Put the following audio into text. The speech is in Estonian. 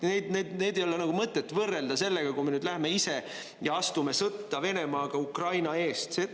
Neid ei ole mõtet võrrelda sellega, kui me läheme ise ja astume sõtta Venemaaga Ukraina eest.